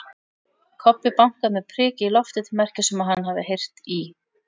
Kobbi bankaði með priki í loftið til merkis um að hann hafi heyrt í